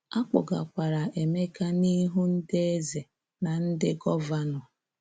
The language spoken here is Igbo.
A kpụgakwara Emeka n'ihu ndị ezé na ndị gọvanọ.